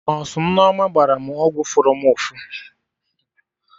Nọsụ Nneoma gbara mụ ọgwụ fụrụ mụ ụfụ